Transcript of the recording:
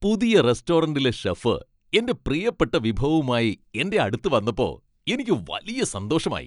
പുതിയ റെസ്റ്റോറന്റിലെ ഷെഫ് എന്റെ പ്രിയപ്പെട്ട വിഭവവുമായി എന്റെ അടുത്ത് വന്നപ്പോ എനിക്ക് വലിയ സന്തോഷമായി